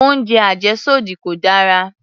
Oúnjẹ àjẹ́sódì kò dára